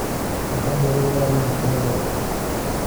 Waa hab lagu ilaaliyo hantida dadka.